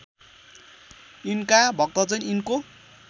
यिनका भक्तजन यिनको